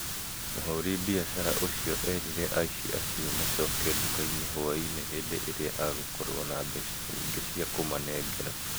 mũhuri biashara ũcio erire aĩci acio acoke nduka-ini hwa-inĩ hĩndĩ ĩrĩa agũkorwo na mbeca nyingĩ cia kũmanengera